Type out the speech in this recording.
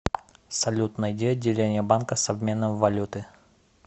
салют найди отделение банка с обменом валюты